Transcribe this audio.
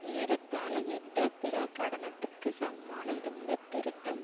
ஏறத்தாழ யுத்த பிரகடனத்துக்கு சமமான இந்த திருத்தம்